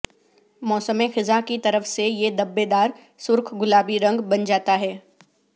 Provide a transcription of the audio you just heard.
موسم خزاں کی طرف سے یہ دببیدار سرخ گلابی رنگ بن جاتا ہے